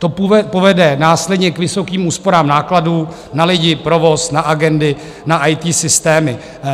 To povede následně k vysokým úsporám nákladů na lidi, provoz, na agendy, na IT systémy.